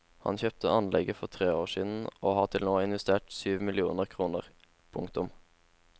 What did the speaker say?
Han kjøpte anlegget for tre år siden og har til nå investert syv millioner kroner. punktum